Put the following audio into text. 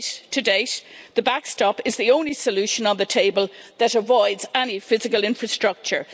To date, the backstop is the only solution on the table that avoids any physical infrastructure.